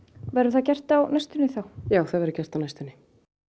verður það gert á næstunni já það verður gert á næstunni